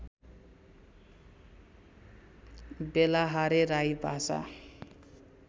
बेलाहारे राई भाषा